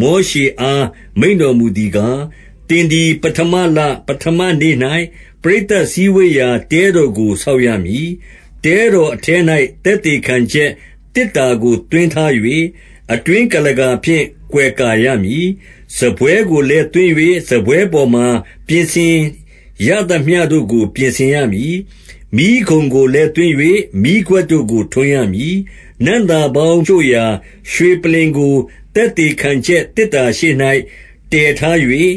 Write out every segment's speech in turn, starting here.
မောရှေအား မိန့်တော်မူသည်ကား၊ 2 သင်သည် ပဌမလ၊ ပဌမနေ့၌ ပရိသတ်စည်းဝေးရာ တဲတော်ကို ဆောက်ရမည်။ 3 တဲတော်အထဲ၌၊ သက်သေခံချက် သေတ္တာကို သွင်းထား၍၊ အတွင်းကုလားကာဖြင့် ကွယ်ကာရမည်။ 4 စားပွဲကိုလည်း သွင်း၍၊ စားပွဲပေါ်မှာ ပြင်ဆင်ရသမျှတို့ကို ပြင်ဆင်ရမည်။ မီးခုံကိုလည်း သွင်း၍၊ မီးခွက်တို့ကို ထွန်းရမည်။ 5 နံ့သာပေါင်းရှို့ရာ ရွှေပလ္လင်ကို သက်သေခံချက် သေတ္တာရှေ့၌ တည်ထား၍၊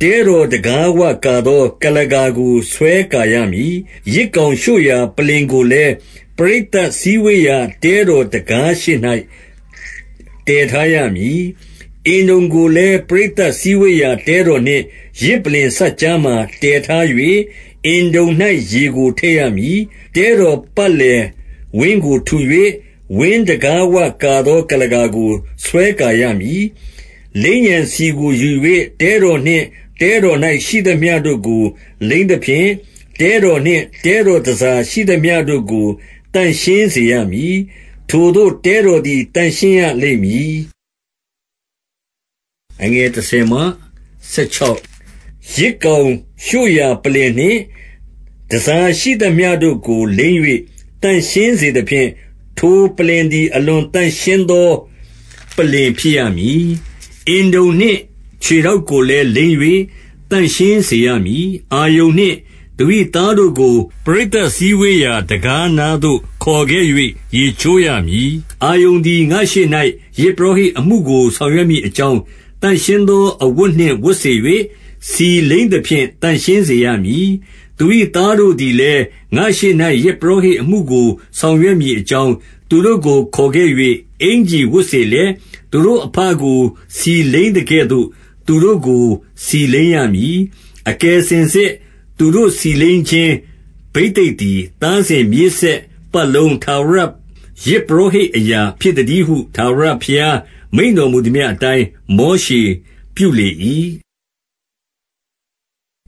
တဲတော်တံခါးဝကာသော ကုလားကာကို ဆွဲကာရမည်။ 6 ယဇ်ကောင်ရှို့ရာ ပလ္လင်ကိုလည်း၊ ပရိသတ်စည်းဝေးရာ တဲတော်တံခါးရှေ့၌ တည်ထားရမည်။ 7 အင်တုံကိုလည်း ပရိသတ် စည်းဝေးရာ တဲတော်နှင့် ယဇ်ပလ္လင် စပ်ကြားမှာ တည်ထား၍၊ အင်တုံ၌ ရေကို ထည့်ရမည်။ 8 တဲတော်ပတ်လည်ဝင်းကို ထူ၍၊ ဝင်းတံခါးဝကာသော ကုလားကာကို ဆွဲကာရမည်။ 9 လိမ်းရန် ဆီကို ယူ၍၊ တဲတော်နှင့် တဲတော်၌ ရှိသမျှတို့ကို လိမ်းသဖြင့် တဲတော်နှင့် တဲတော်တန်ဆာရှိသမျှတို့ကို သန့်ရှင်းစေရမည်။ ထိုသို့ တဲတော်သည် သန့်ရှင်းရလိမ့်မည်။ 10 ယဇ်ကောင်ရှို့ရာပလ္လင်နှင့် တန်ဆာရှိသမျှတို့ကို လိမ်း၍ သန့်ရှင်းစေသဖြင့်၊ ထိုပလ္လင်သည် အလွန် သန့်ရှင်းသော ပလ္လင်ဖြစ်ရမည်။ 11 အင်တုံနှင့် ခြေထောက်ကိုလည်း လိမ်း၍ သန့်ရှင်းစေရမည်။ 12 အာရုန်နှင့် သူ၏သားတို့ကို၊ ပရိသတ်စည်းဝေးရာ တံခါးနားသို့ ခေါ်ခဲ့၍ ရေချိုးရမည်။ 13 အာရုန်သည် ငါ့ရှေ့၌၊ ယဇ်ပုရောဟိတ်အမှုကို ဆောင်ရွက်မည်အကြောင်း၊ သန့်ရှင်းသောအဝတ်နှင့် ဝတ်စေ၍ ဆီလိမ်းသဖြင့် သန့်ရှင်းစေရမည်။ 14 သူ၏သားတို့သည်လည်း ငါ့ရှေ့၌ ယဇ်ပုရောဟိတ်အမှုကို ဆောင်ရွက်မည်အကြောင်း၊ သူတို့ကို ခေါ်ခဲ့၍ အင်္ကျီဝတ်စေလျက်၊ သူတို့အဘကို ဆီလိမ်းသကဲ့သို့၊ သူတို့ကို ဆီလိမ်းရမည်။ 15 အကယ်စင်စစ် သူတို့ ဆီလိမ်းခြင်း ဘိသိက်သည် သားစဉ်မြေးဆက်ပတ်လုံး၊ ထာဝရယဇ်ပုရောဟိတ် အရာဖြစ်သတည်းဟု၊ 16 ထာဝရဘုရား မိန့်တော်မူသမျှအတိုင်း မောရှေပြုလေ၏။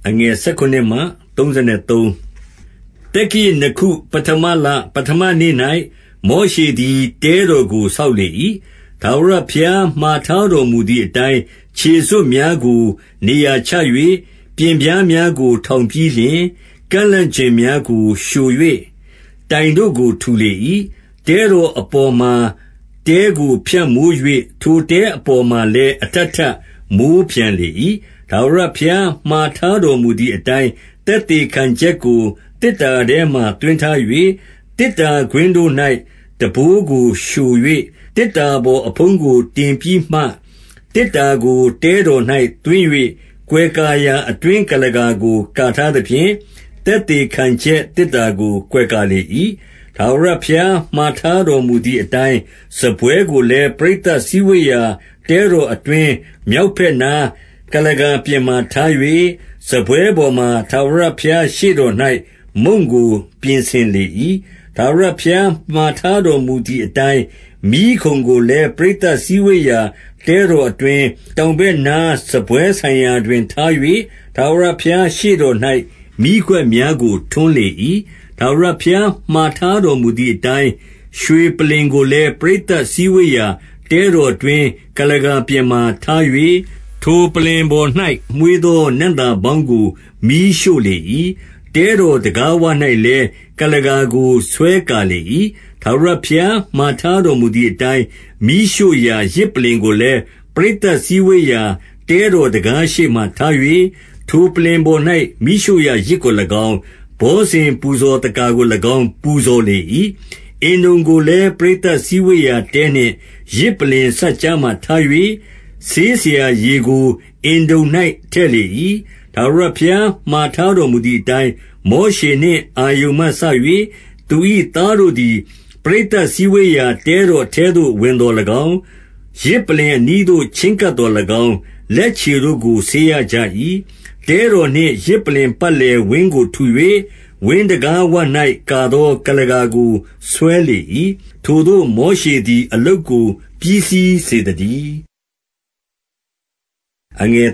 17 သက္ကရာဇ်နှစ်ခု၊ ပဌမလ၊ ပဌမနေ့၌ မောရှေသည် တဲတော်ကို ဆောက်လေ၏။ 18 ထာဝရဘုရား မှာထားတော်မူသည်အတိုင်း၊ ခြေစွပ်များကို နေရာချ၍၊ ပျဉ်ပြားများကို ထောင်ပြီးလျှင်၊ ကန့်လန့်ကျင်များကို လျှို၍၊ တိုင်တို့ကို ထူလေ၏။ 19 တဲတော်အပေါ်မှာ တဲကို ဖြန့်မိုး၍ ထိုတဲအပေါ်မှာလည်း အထပ်ထပ် မိုးပြန်လေ၏။ 20 ထာဝရဘုရား မှာထားတော်မူသည်အတိုင်း၊ သက်သေခံချက်ကို သေတ္တာထဲမှာ သွင်းထား၍၊ သေတ္တာ ကွင်းတို့၌ ထမ်းဘိုးကို လျှို၍၊ သေတ္တာပေါ်မဖုံးကိုတင်ပြီးမှ၊ 21 သေတ္တာကို တဲတော်၌ သွင်း၍ ကွယ်ကာရာ အတွင်းကုလားကာကို ကာထားသဖြင့်၊ သက်သေခံချက် သေတ္တာကို ကွယ်ကာလေ၏။ 22 ထာဝရဘုရားမှာထားတော်မူသည်အတိုင်း၊ စားပွဲကိုလည်း ပရိသတ်စည်းဝေးရာ တဲတော်အတွင်း မြောက်ဘက်နား ကုလားကာပြင်မှာ ထား၍၊ 23 စားပွဲပေါ်မှာ ထာဝရဘုရားရှေ့တော်၌ မုန့်ကို ပြင်ဆင်လေ၏။ 24 ထာဝရဘုရား မှာထားတော်မူသည်အတိုင်း၊ မီးခုံကိုလည်း ပရိသတ် စည်းဝေးရာ တဲတော်အတွင်း၊ တောင်ဘက်နား စားပွဲဆိုင်ရာတွင် ထား၍၊ 25 ထာဝရဘုရားရှေ့တော်၌ မီးခွက်များကို ထွန်းလေ၏။ 26 ထာဝရဘုရား မှာထားတော်မူသည်အတိုင်း၊ ရွှေပလ္လင်ကိုလည်း ပရိသတ်စည်းဝေးရာ တဲတော်အတွင်း ကုလားကာပြင်မှာ ထား၍၊ 27 ထိုပလ္လင်ပေါ်၌ မွှေးသော နံ့သာပေါင်းကို မီးရှို့လေ၏။ 28 တဲတော်တံခါးဝ၌လည်း၊ ကုလားကာကို ဆွဲကာလေ၏။ 29 ထာဝရဘုရား မှာထားတော်မူသည်အတိုင်း၊ မီးရှို့ရာ ယဇ်ပလ္လင်ကိုလည်း၊ ပရိသတ်စည်းဝေးရာ တဲတော်တံခါးရှေ့မှာ ထား၍၊ ထိုပလ္လင်ပေါ်၌ မီးရှို့ရာ ယဇ်ကို၎င်း၊ ဘောဇဉ်ပူဇော်သက္ကာကို၎င်း ပူဇော်လေ၏။ 30 အင်တုံကိုလည်း ပရိသတ်စည်းဝေးရာတဲနှင့် ယဇ်ပလ္လင်စပ်ကြား မှာထား၍၊ ဆေးစရာရေကို အင်တုံ၌ ထည့်လေ၏။ 31 ထာဝရဘုရား မှာထားတော်မူသည်အတိုင်း၊ မောရှေနှင့် အာရုန်မှစ၍ သူ၏သားတို့သည် ပရိသတ် စည်းဝေးရာ တဲတော်အထဲသို့ ဝင်သော်၎င်း၊ 32 ယဇ်ပလ္လင်အနီးသို့ ချဉ်းကပ်သော်၎င်း၊ လက်ခြေတို့ကို ဆေးရကြ၏။ 33 တဲတော်နှင့် ယဇ်ပလ္လင်ပတ်လည်ဝင်းကိုထူ၍၊ ဝင်းတံခါးဝ၌ ကာသော ကုလားကာကို ဆွဲလေ၏။ ထိုသို့ မောရှေသည် အလုပ်ကို ပြီးစီးစေသတည်း။ 34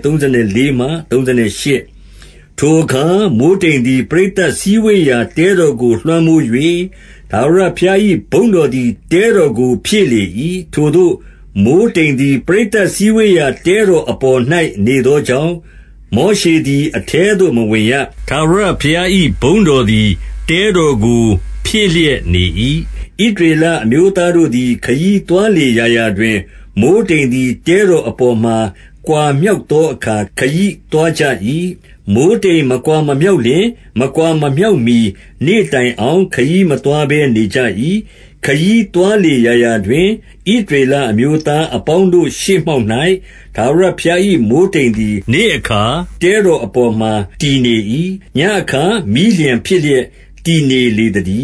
ထိုအခါ မိုဃ်းတိမ်သည် ပရိသတ်စည်းဝေးရာ တဲတော်ကို လွှမ်းမိုး၍၊ ထာဝရဘုရား၏ ဘုန်းတော်သည် တဲတော်ကို ဖြည့်လေ၏။ 35 ထိုသို့ မိုဃ်းတိမ်သည် ပရိသတ်စည်းဝေးရာ တဲတော်အပေါ်၌ နေသောကြောင့်၊ မောရှေသည် အထဲသို့မဝင်ရ။ ထာဝရဘုရား၏ ဘုန်းတော်သည် တဲတော်ကို ဖြည့်လျက်နေ၏။ 36 ဣသရေလအမျိုးသားတို့သည် ခရီးသွားလေရာရာတွင်၊ မိုဃ်းတိမ်သည် တဲတော်အပေါ်မှ ကွာမြောက်သောအခါ ခရီးသွားကြ၏။ 37 မိုဃ်းတိမ်မကွာ မမြောက်လျှင်၊ မကွာမမြောက်မှီနေ့တိုင်အောင်၊ ခရီးမသွားဘဲ နေကြ၏။ 38 ခရီးသွားလေရာရာတွင် ဣသရေလအမျိုးသားအပေါင်းတို့ရှေ့မှောက်၌ ထာဝရဘုရား၏ မိုဃ်းတိမ်သည် နေ့အခါ တြတော်အပေါ်မှာ တည်နေ၏။ ညဉ့်အခါ မီးလျှံဖြစ်လျက် တည်နေလေသတည